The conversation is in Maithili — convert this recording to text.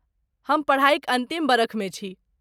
हम पढ़ाइक अन्तिम बरखमे छी।